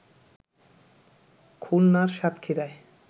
খুলনার সাতক্ষীরায়